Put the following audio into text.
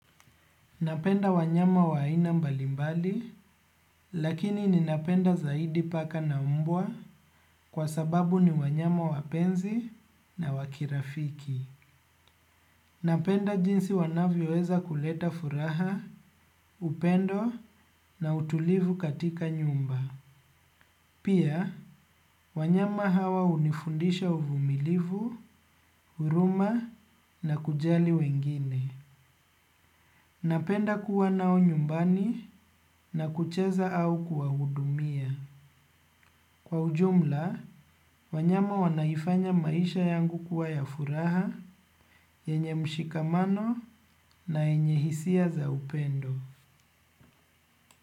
Napenda wanyama wa ina mbalimbali, lakini ninapenda zaidi paka na umbwa kwa sababu ni wanyama wapenzi na wakirafiki. Napenda jinsi wanavyoweza kuleta furaha, upendo na utulivu katika nyumba. Pia, wanyama hawa hunifundisha uvumilivu, huruma na kujali wengine. Napenda kuwa nao nyumbani na kucheza au kuwahudumia. Kwa ujumla, wanyama wanaifanya maisha yangu kuwa ya furaha, yenye mshikamano na yenye hisia za upendo.